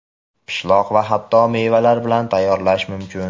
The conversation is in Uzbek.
pishloq va hatto mevalar bilan tayyorlash mumkin.